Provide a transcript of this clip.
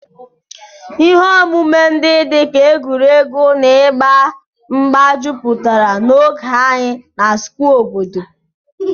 Ihe omume ndị dị ka egwuregwu na ịgba mgba jupụtara n'oge anyị na Square obodo.